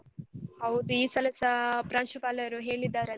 ಹೌದು ಈ ಸಲಸಾ ಪ್ರಾಂಶುಪಾಲರು ಹೇಳಿದ್ದಾರಲ್ಲ.